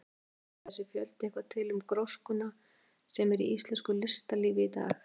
Jóhann: Segir þessi fjöldi eitthvað til um gróskuna sem er í íslensku listalífi í dag?